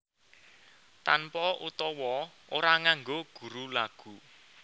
Tanpa utawa ora nganggo guru lagu